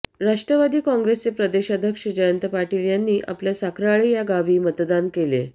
राष्ट्रवादी काँग्रेसचे प्रदेशाध्यक्ष जयंत पाटील यांनी आपल्या साखराळें या गावी मतदान केले